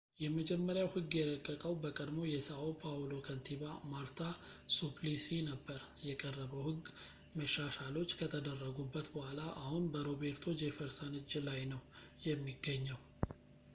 የመጀመሪያው ሕግ የረቀቀው በቀድሞው የsão paulo ከንቲባ marta suplicy ነበር። የቀረበው ሕግ፣ መሻሻሎች ከተደረጉበት በኋላ፣ አሁን በroberto jefferson እጅ ላይ ነው የሚገኘው